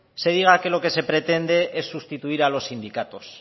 se diga que lo que se pretende es sustituir a los sindicatos